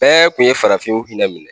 Bɛɛ kun ye farafinw hinɛ minɛ